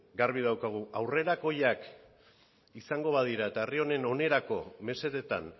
garbi daukagu aurrerakoiak izango badira eta herri honen onerako mesedetan